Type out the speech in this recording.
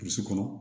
kɔnɔ